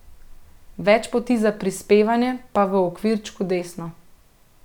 Več poti za prispevanje pa v okvirčku desno.